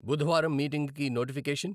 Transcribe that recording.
బుధవారం మీటింగ్కి నోటిఫికేషన్.